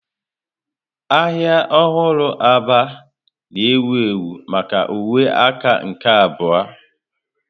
Ahịa ọhụrụ Aba na-ewu ewu maka uwe aka nke abụọ.